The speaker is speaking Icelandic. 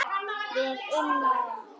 Við unnum!